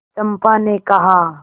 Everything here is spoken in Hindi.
चंपा ने कहा